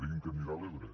digui’m que anirà a l’ebre